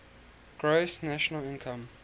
gross national income